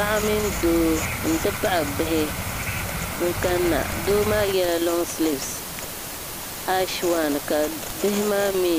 Paɣa mini doo nti pahi bihi n-kani na doo maa yela loŋsilivisi ashi wan ka bihi maa mi